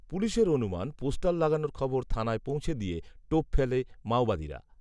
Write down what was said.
পুলিশের অনুমান পোস্টার লাগানোর খবর থানায় পৌঁছে দিয়ে টোপ ফেলে মাওবাদীরা